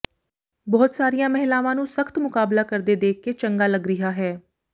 ਬਹੁਤ ਸਾਰੀਆਂ ਮਹਿਲਾਵਾਂ ਨੂੰ ਸਖ਼ਤ ਮੁਕਾਬਲਾ ਕਰਦੇ ਦੇਖ ਕੇ ਚੰਗਾ ਲੱਗ ਰਿਹਾ ਹੈ